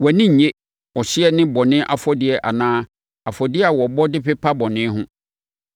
Wʼani nnnye ɔhyeɛ ne bɔne afɔdeɛ anaa afɔdeɛ a wɔbɔ de pepa bɔne ho.